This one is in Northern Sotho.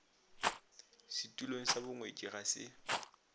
setulong sa bongwetši ga se